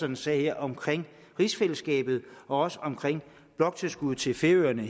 en sag om rigsfællesskabet og også om bloktilskuddet til færøerne